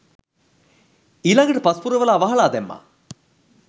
ඊළඟට පස් පුරවලා වහලා දැම්මා